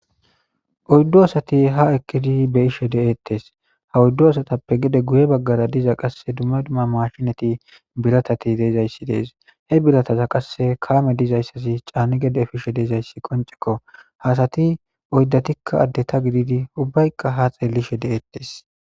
oyddu asati ha eqqidi be ishe de7ettes ha oyddo asatappe gede guye baggara diza qasse dumma dumma mashinati biratati deezayssi dees he birataza qasse kaame dizayssasi caani gede fishe deezayssi qoncekko hasati oyddatikka adde ta gididi ubbaykka ha xeellishe de7ettes